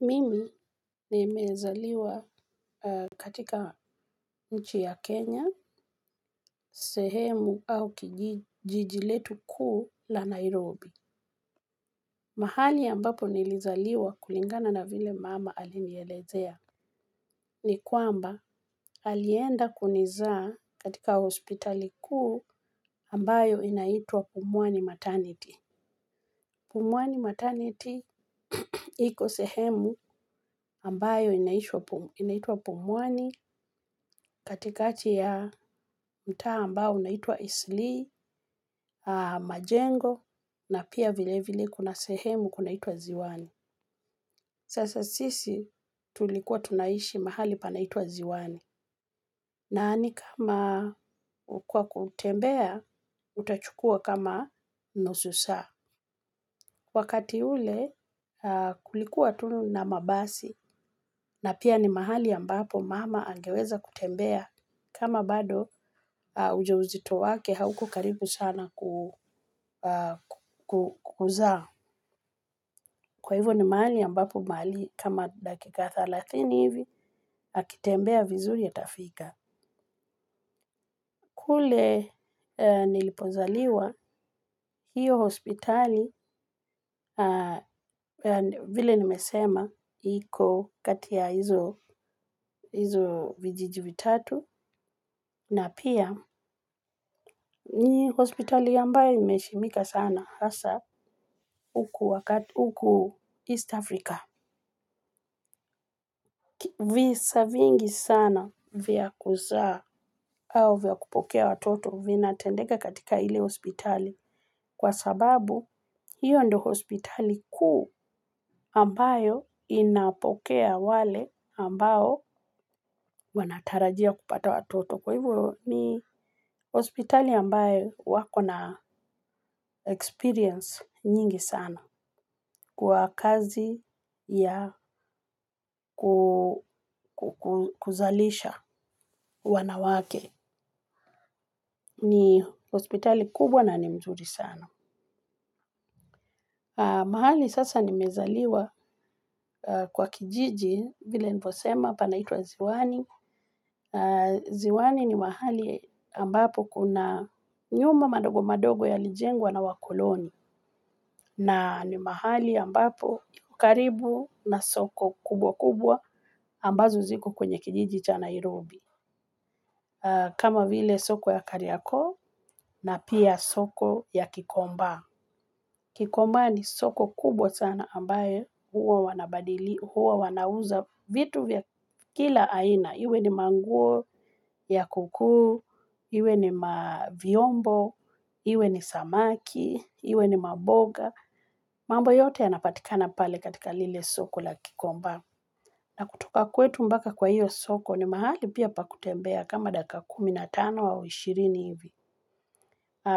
Mimi nimezaliwa katika nchi ya Kenya, sehemu au jiji letu kuu la Nairobi. Mahali ambapo nilizaliwa kulingana na vile mama alinielezea ni kwamba alienda kunizaa katika hospitali kuu ambayo inaitwa Pumwani Maternity. Pumwani maternity iko sehemu ambayo inaitwa pumwani katikati ya mtaa ambao inaitua Eastleigh, Majengo, na pia vilevile kuna sehemu kunaitwa ziwani. Sasa sisi tulikuwa tunaishi mahali panaitwa Ziwani. Na ni kama kwa kutembea, utachukua kama nusu saa. Wakati ule kulikuwa tu na mabasi na pia ni mahali ambapo mama angeweza kutembea kama bado ujauzito wake hauko karibu sana kuzaa. Kwa hivyo ni mahali ambapo mahali kama dakika thelathini hivi akitembea vizuri atafika. Kule nilipozaliwa hiyo hospitali vile nimesema iko kati ya hizo vijiji vitatu na pia ni hospitali ambayo imeheshimika sana hasa huku East Africa. Visa vingi sana vya kuzaa au vya kupokea watoto vinatendeka katika ile hospitali kwa sababu hiyo ndio hospital kuu ambayo inapokea wale ambao wanatarajia kupata watoto. Kwa hivyo ni hospitali ambayo wako na experience nyingi sana. Kwa kazi ya kuzalisha wanawake. Ni hospitali kubwa na ni mzuri sana. Mahali sasa nimezaliwa kwa kijiji vile nilivyosema panaitwa ziwani. Ziwani ni mahali ambapo kuna nyumba madogo madogo yalijengwa na wakoloni. Na ni mahali ambapo, karibu na soko kubwa kubwa ambazo ziko kwenye kijiji cha Nairobi. Kama vile soko ya Kariakoo na pia soko ya Kikomba. Kikomba ni soko kubwa sana ambayo huwa wanabadili, huwa wanauza vitu vya kila aina. Iwe ni manguo ya kuukuu, iwe ni mavyombo, iwe ni samaki, iwe ni maboga. Mambo yote yanapatikana pale katika lile soko la kikomba. Na kutoka kwetu mpaka kwa hiyo soko ni mahali pia pa kutembea kama dakika kumi na tano au ishirini hivi.